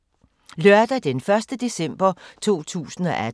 Lørdag d. 1. december 2018